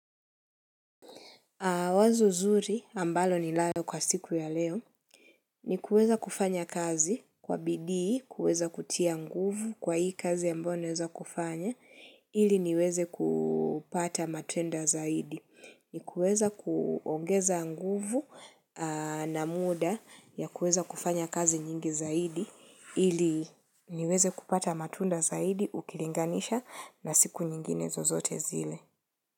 Wazo zuri ambalo ninalo kwa siku ya leo ni kuweza kufanya kazi kwa bidii, kuweza kutia nguvu kwa hii kazi ambayo naweza kufanya ili niweze kupata matenda zaidi. Ni kuweza kuongeza nguvu na muda ya kuweza kufanya kazi nyingi zaidi ili niweze kupata matunda zaidi ukilinganisha na siku nyingine zozote zile.